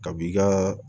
Kab'i ka